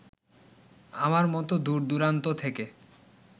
আমার মতো দূরদূরান্ত থেকে